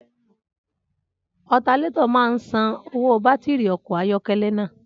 Alternator máa ń san owó bátìrì ọkọ̀ ayọ́kẹ́lẹ́ náà.